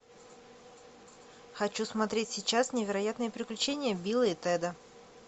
хочу смотреть сейчас невероятные приключения билла и теда